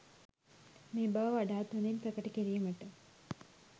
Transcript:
මේ බව වඩාත් හොඳින් ප්‍රකට කිරීමට